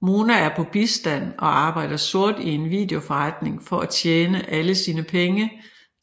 Mona er på bistand og arbejder sort i en videoforretning for at tjene alle sine penge